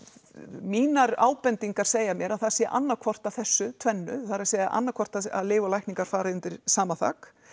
mínar ábendingar segja mér að það sé annað hvort af þessu tvennu það er að annað hvort að lyf og lækningar fari undir sama þak